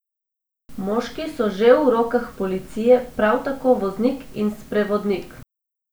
Moški so že v rokah policije, prav tako voznik in sprevodnik.